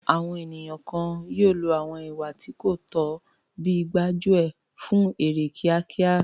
Àwọn ènìyàn kan yóò lo àwọn ìwà tí kò tọ́ bíi gbájú ẹ̀ fún èrè kíákíá.